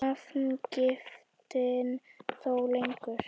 Nafngiftin þó lengur.